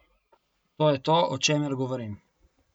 To je to, o čemer govorim.